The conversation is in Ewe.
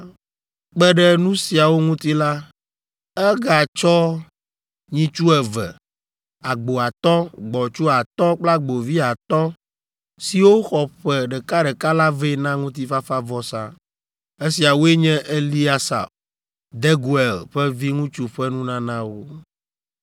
Kpe ɖe nu siawo ŋuti la, egatsɔ nyitsu eve, agbo atɔ̃, gbɔ̃tsu atɔ̃ kple agbovi atɔ̃, siwo xɔ ƒe ɖekaɖeka la vɛ na ŋutifafavɔsa. Esiawoe nye Eliasaf, Deguel ƒe viŋutsu ƒe nunanawo.